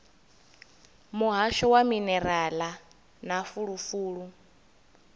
muhasho wa minerala na fulufulu